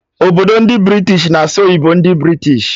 Obodo ndị Britain na-asụ oyibo ndị British